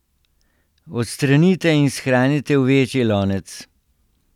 Odstranite in shranite v večji lonec.